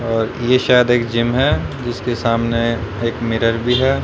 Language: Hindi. अ ये शायद एक जिम है जिसके सामने एक मिरर भी है।